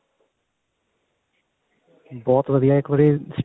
ਬਹੁਤ ਵਧੀਆ ਇੱਕ ਵਾਰੀ